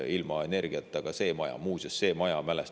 Ilma energiata.